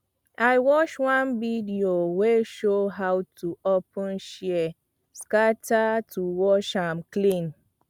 i watch one video wey show how to open shears scatter to wash am clean